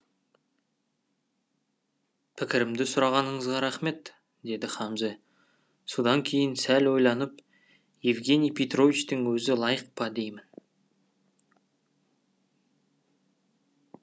пікірімді сұрағаныңызға рахмет деді хамзе содан кейін сәл ойланып евгений петровичтің өзі лайық па деймін